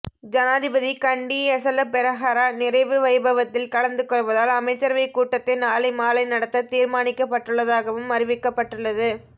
ஜனாதிபதி கண்டி எசல பெரஹர நிறைவு வைபவத்தில் கலந்துகொள்வதால் அமைச்சரவை கூட்டத்தை நாளை மாலை நடத்த தீர்மானிக்கப்பட்டுள்ளதாகவும் அறிவிக்கப்பட்டள்ளது